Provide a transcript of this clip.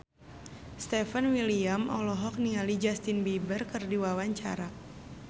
Stefan William olohok ningali Justin Beiber keur diwawancara